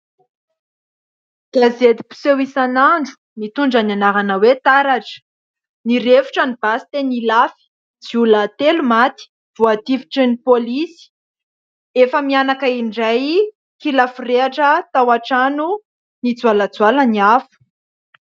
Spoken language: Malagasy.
Gazety mpiseho isan'andro mitondra ny anarana hoe "TARATRA". Nirefotra ny basy teny Ilafy ziolahy telo no maty voatifitrin'ny polisy, efa-mianaka indray kila forehitra tao antrano nijoalajoala ny afo.